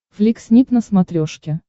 флик снип на смотрешке